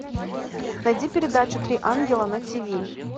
найди передачу три ангела на тиви